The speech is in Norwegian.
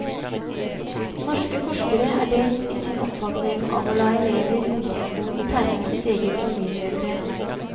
Norske forskere er delt i sin oppfatning av å la elever i ungdomsskolen tegne sitt eget familietre.